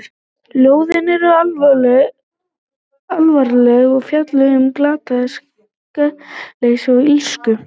Ljóðin eru alvarleg og fjalla um glatað sakleysi og illsku.